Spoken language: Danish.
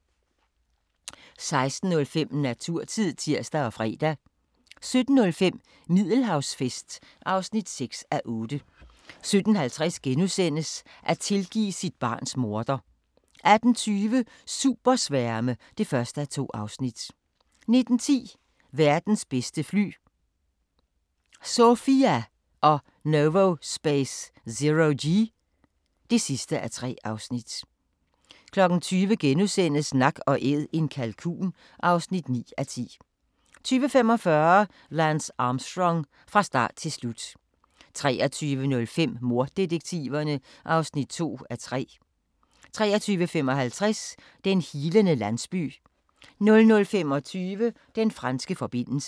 16:05: Naturtid (tir og fre) 17:05: Middelhavsfest (6:8) 17:50: At tilgive sit barns morder * 18:20: Supersværme (1:2) 19:10: Verdens bedste fly – SOFIA og Novospace ZeroG (3:3) 20:00: Nak & Æd - en kalkun (9:10)* 20:45: Lance Armstrong – fra start til slut 23:05: Morddetektiverne (2:3) 23:55: Den healende landsby 00:25: Den franske forbindelse